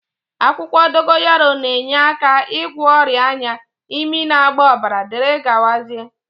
Akwukwo dogoyaro na-enyeaka igwo oria anya, imi na-agba obara wdgz